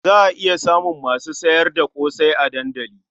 Za iya samun masu sayar da ƙosai a dandali.